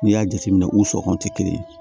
N'i y'a jateminɛ u sɔngɔn tɛ kelen ye